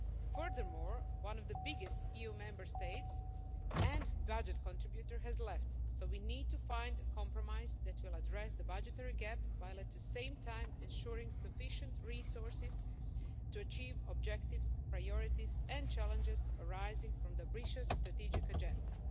Furthermore, one of the biggest EU Member States and budget contributors has left, so we need to find a compromise that will address the budgetary gap while at the same time ensuring sufficient resources to achieve objectives, priorities and challenges arising from the ambitious strategic agenda.